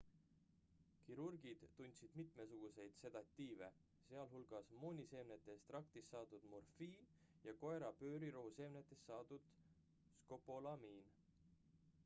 kirurgid tundsid mitmesuguseid sedatiive sh mooniseemnete ekstraktist saadud morfiin ja koera-pöörirohu seemnetest saadud skopolamiin